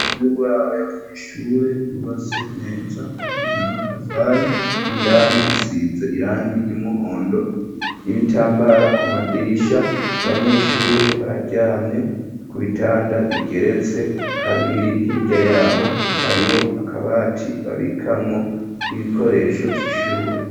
Inzu y'uburaro y'Abanyeshure yubatse neza ibakijwe n'amatafari, indani isize irangi ry'umuhondo,, y'ibitambara ku madirisha abanyeshure bararyamye ku bitanda bigeretse kabiri, hirya yaho hariho akabati babikamwo 'ibikoresho vy'ishure.